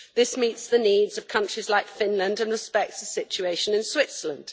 This meets the needs of countries like Finland and respects the situation in Switzerland.